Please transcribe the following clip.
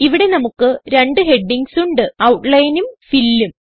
ഇവിടെ നമുക്ക് രണ്ട് ഹെഡിംഗ്സ് ഉണ്ട് Outlineഉം Fillഉം